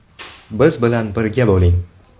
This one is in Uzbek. Biz bilan birga bo‘ling!